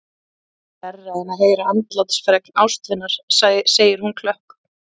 Þetta er verra en að heyra andlátsfregn ástvinar, segir hún klökk.